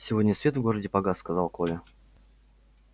сегодня свет в городе погас сказал коля